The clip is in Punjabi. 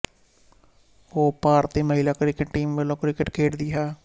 ਉਹ ਭਾਰਤੀ ਮਹਿਲਾ ਕ੍ਰਿਕਟ ਟੀਮ ਵੱਲੋਂ ਕ੍ਰਿਕਟ ਖੇਡਦੀ ਹੈ